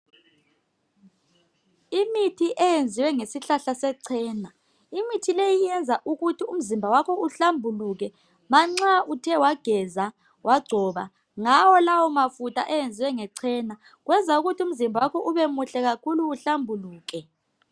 Imithi eyenziwe ngesihlahla sechena imithi leyi iyenza ukuthi umzimba wakho uhlambuluke manxa uthe wageza wagcoba ngawo lawo mafutha ayenziwe ngechena kwenza ukuthi umzimba wakho ubemuhle kakhulu uhlambuluke.